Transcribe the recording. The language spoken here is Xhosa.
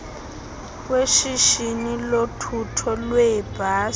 weshishini lothutho lweebhasi